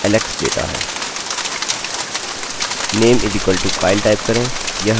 name=kyle type करें यह हमें इसके भीतर kyle देता है